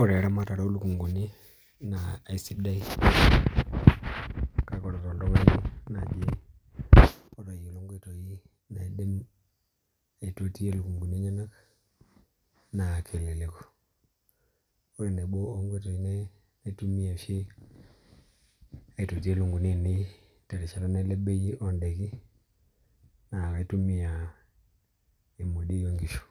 Ore eramatare olukunguni naa aisidai kake oltung'ani nai otayiolo inkoitoi naidim aitotie ilukunguni eneyenak naa kelelek Ore nabo oongoitoi naitumia oshi aitotiyie ilukunguni ainei terishata naileb bei oon'daiki oolukunguni naa kaitumia emodioi oongishu